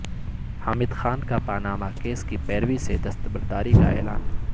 حامد خان کا Panama case کی پیروی سے دستبرداری کا اعلان